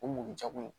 O mugujɛkulu